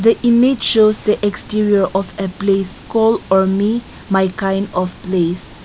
the image shows the exterior of a place call ormi my kind of place.